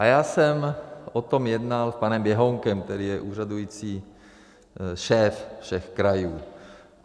A já jsem o tom jednal s panem Běhounkem, který je úřadující šéf všech krajů.